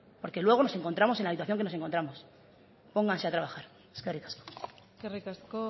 porque luego nos encontramos en la situación que nos encontramos pónganse a trabajar eskerrik asko eskerrik asko